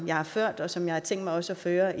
jeg har ført og som jeg har tænkt mig også at føre